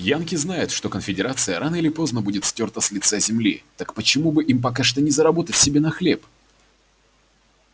янки знают что конфедерация рано или поздно будет стёрта с лица земли так почему бы им пока что не заработать себе на хлеб